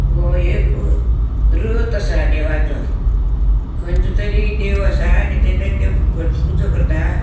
वो एक रथ असा देवाचो कंचे तरी देव असा आणि थँ भट पूजा करता.